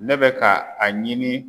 Ne bɛ ka a ɲini